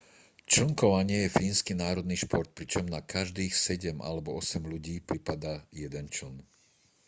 člnkovanie je fínsky národný šport pričom na každých sedem alebo osem ľudí pripadá jeden čln